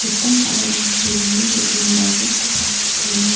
mitam ba·rarangko namen dem·enba rack -o gate dona.